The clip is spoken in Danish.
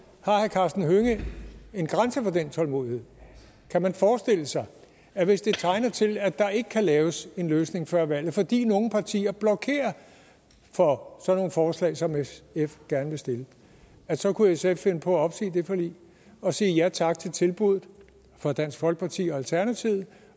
karsten hønge en grænse for den tålmodighed kan man forestille sig at hvis det tegner til at der ikke kan laves en løsning før valget fordi nogle partier blokerer for sådan nogle forslag som sf gerne vil stille at så kunne sf finde på at opsige det forlig og sige ja tak til tilbuddet fra dansk folkeparti og alternativet